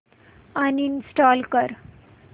uninstall कर